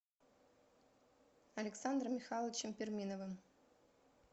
александром михайловичем перминовым